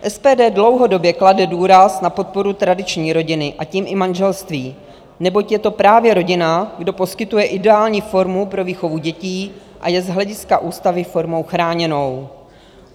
SPD dlouhodobě klade důraz na podporu tradiční rodiny, a tím i manželství, neboť je to právě rodina, kdo poskytuje ideální formu pro výchovu dětí a je z hlediska ústavy formou chráněnou.